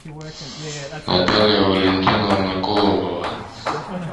наталья валентиновна колобова